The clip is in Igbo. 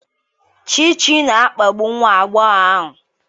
Chichi na-akpagbu nwa agbọghọ ahụ.